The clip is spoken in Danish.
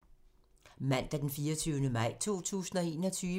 Mandag d. 24. maj 2021